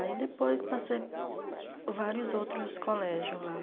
Aí depois passei vários outros colégios lá.